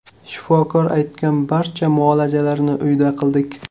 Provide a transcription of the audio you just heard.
Shifokor aytgan barcha muolajalarni uyda qildik.